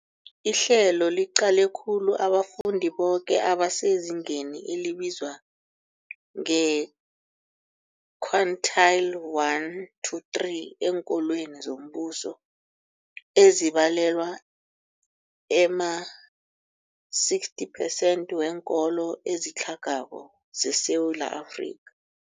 Ihlelo liqale khulu abafundi boke abasezingeni elibizwa nge-quintile 1-3 eenkolweni zombuso, ezibalelwa ema-60 percent weenkolo ezitlhagako zeSewula Afrika.